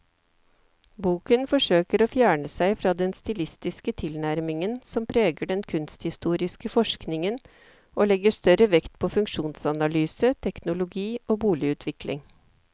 Boken forsøker å fjerne seg fra den stilistiske tilnærmingen som preger den kunsthistoriske forskningen og legger større vekt på funksjonsanalyse, teknologi og boligutvikling.